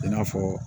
I n'a fɔ